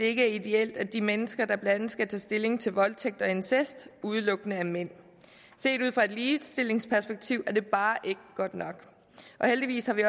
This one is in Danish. ikke er ideelt at de mennesker der blandt andet skal tage stilling til voldtægt og incest udelukkende er mænd set ud fra et ligestillingsperspektiv er det bare ikke godt nok og heldigvis har vi